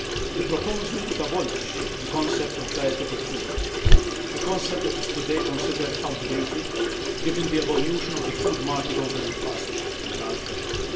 The proposal would abolish the concept of dietetic food a concept that is today considered outdated given the evolution of the food market over the past decade.